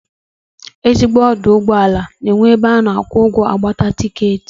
Ezigbo ọdụụgbọala na-enwe ebe a na-akwụ ụgwọ, agbata tikeetị